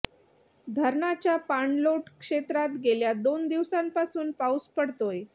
धरणाच्या पाणलोट क्षेत्रात गेल्या दोन दिवसांपासून पाऊस पडतोय